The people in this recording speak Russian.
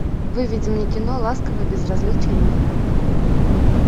выведи мне кино ласковое безразличие мира